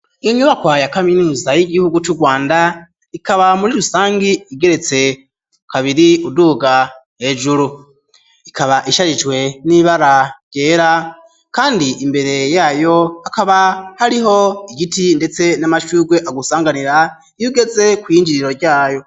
Iyo nyubakwa ya kaminuza y'igihugu c'u Rwanda ikaba muri rusangi igeretse kabiri, uduga hejuru ikaba isharijwe n'ibara ryera kandi imbere yayo hakaba hariho igiti ndetse n'amashugwe agusanganira iyo ugeze kw'injiriro ryayo.